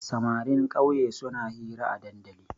Samarin ƙauye suna hira a dandali.